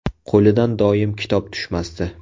Qo‘lidan doim kitob tushmasdi.